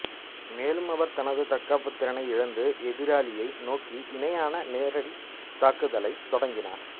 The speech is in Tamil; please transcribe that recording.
மேலும் அவர் தனது தற்காப்புத் திறனை இழந்து எதிராளியை நோக்கி இணையான நேரடித்தாக்குதலைத் தொடங்கினார்